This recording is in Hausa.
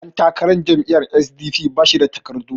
ɗantakarar jam'iyyar s.d.p ba shi da takardun